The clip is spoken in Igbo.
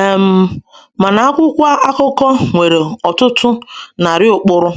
um ‘Mana akwụkwọ akụkọ nwere ọtụtụ narị ụkpụrụ,’